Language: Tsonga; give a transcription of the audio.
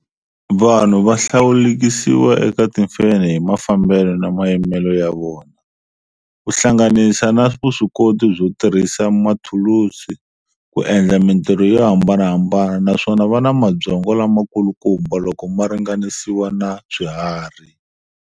Vanhu vahlawulekisiwa eka timfenhe hi mafambele na mayimele ya vona, kuhlanganisa na vuswikoti byo tirhisa mathulusi ku endla mintirho yo hambanahambana, naswona va na mabyongo lama kulukumba loko maringanisiwa na swiharhi.